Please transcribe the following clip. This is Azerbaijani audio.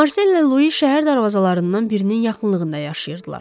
Marsella Lui şəhər darvazalarından birinin yaxınlığında yaşayırdılar.